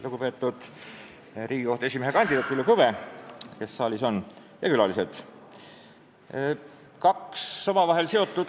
Lugupeetud Riigikohtu esimehe kandidaat Villu Kõve ja külalised!